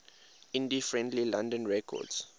indie friendly london records